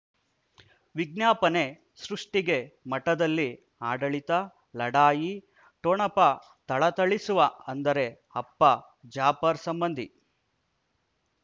ವಿಜ್ಞಾಪನೆ ಸೃಷ್ಟಿಗೆ ಮಠದಲ್ಲಿ ಆಡಳಿತ ಲಢಾಯಿ ಠೊಣಪ ಥಳಥಳಿಸುವ ಅಂದರೆ ಅಪ್ಪ ಜಾಫರ್ ಸಂಬಂಧಿ